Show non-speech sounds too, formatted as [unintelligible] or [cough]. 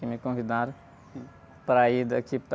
Que me convidaram para ir daqui... [unintelligible]